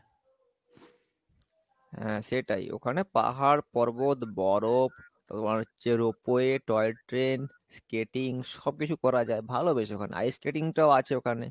হ্যাঁ সেটাই ওখানে পাহাড়, পর্বত, বরফ তোমার হচ্ছে ropeway toy train, skating সবকিছু করা যায় ভালো বেশ ওখানে ice skating টাও আছে ওখানে,